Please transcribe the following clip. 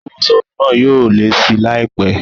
Owó sọ́ọ̀bù náà yóò lé síi láìpé